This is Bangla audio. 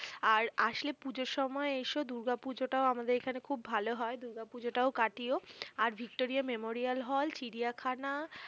আর আসলে পূজোর সময় এসো ।দূর্গাপূজোটাও আমাদের ওখানে খুব ভালো হয় ।দূর্গাপূজাও কাটিয়ো আর ভিক্টোরিয়া মেমোরিয়াল হল, চিড়িয়াখানা